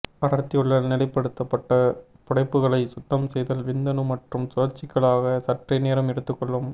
அடர்த்தியுள்ள நிலைப்படுத்தப்பட்ட புடைப்புகளை சுத்தம் செய்தல் விந்தணு மற்றும் சுழற்சிகளாக சற்றே நேரம் எடுத்துக்கொள்ளும்